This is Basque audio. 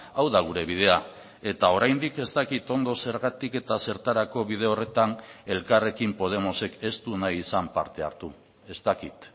hau da gure bidea eta oraindik ez dakit ondo zergatik eta zertarako bide horretan elkarrekin podemosek ez du nahi izan parte hartu ez dakit